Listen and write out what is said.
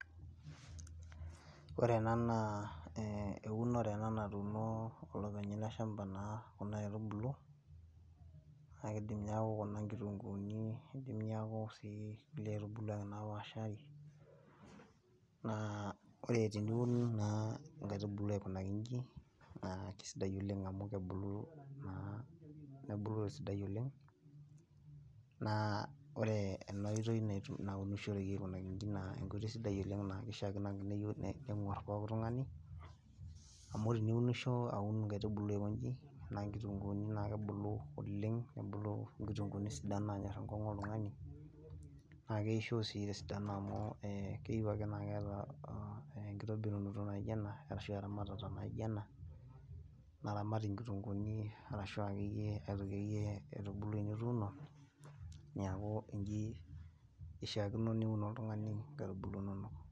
Ore ena na eunore ena natuuno olopeny ele shampa Kuna aitubulu, neeku Kuna nkitunkuuni ekidim neeku ntapuka napaashari, naa ore teniun naa nkaitubulu aikunaki iji. Naa kisidai oleng amu kebulu tesidai oleng. naa ore ena oitoi naaunishoreki aikoji naa enkoitoi naaunishoreki, naa enkoitoi sidai oleng naa kishaakino ake nenguar pooki tungani, amu teniunisho aun nkaitubulu aikoji naa nkitunkuuni naa naabulu olenng nebula nkitunkuuni naanyor enkongu oltungani, naa ekeisho sii tesidano amu keyieu ake naa keeta enkitobirunoto naijo ena shu eramatata naijo ena naaramati nkitunkuuni naijo akeyie nkaitubulu nituunu neku iji ishaakino oltungani niun nkaitubulu inonok.